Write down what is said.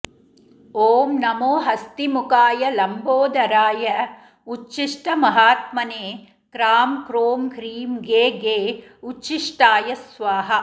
ॐ नमो हस्तिमुखाय लम्बोदराय उच्छिष्टमहात्मने क्राँ क्रोँ ह्रीँ घे घे उच्छिष्टाय स्वाहा